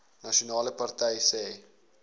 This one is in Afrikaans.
nasionale party sê